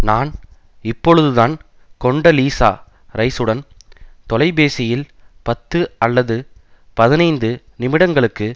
நான் இப்பொழுதுதான் Condoleezza Rice உடன் தொலைபேசியில் பத்து அல்லது பதினைந்து நிமிடங்களுக்கு